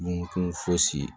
Dunkun fosi